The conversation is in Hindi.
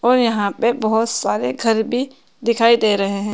और यहां पे बहोत सारे घर भी दिखाई दे रहे है।